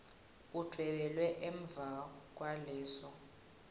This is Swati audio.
udvwebele emva kwaleso